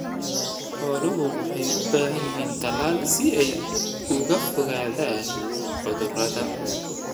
Xooluhu waxay u baahan yihiin talaal si ay uga fogaadaan cudurrada.